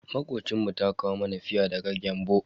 Makocinmu ta kawo mana fia daga Gembu.